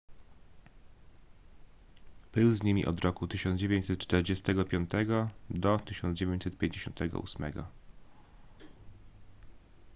był z nimi od roku 1945 do 1958